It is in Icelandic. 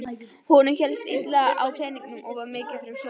Honum hélst illa á peningum og var mikið fyrir sopann.